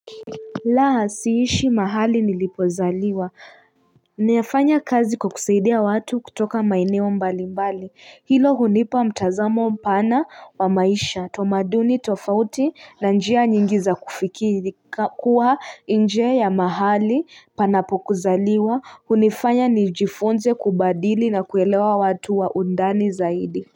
Laa siishi mahali nilipozaliwa. Niafanya kazi kukusaidia watu kutoka maineo mbali mbali. Hilo hunipa mtazamo mpana wa maisha. Utamaduni tofauti na njia nyingiza kufikiri. Kuwa nje ya mahali panapo kuzaliwa. Hunifanya nijifunze kubadili na kuelewa watu wa undani zaidi.